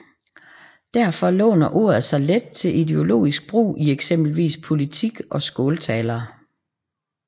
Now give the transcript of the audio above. Derfor låner ordet sig let til ideologisk brug i eksempelvis politik og skåltaler